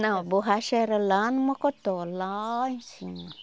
Não, borracha era lá no Mocotó, lá em cima.